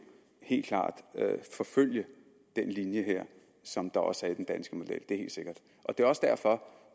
helt klart vil forfølge den linje som også ligger i den danske model det er helt sikkert det er også derfor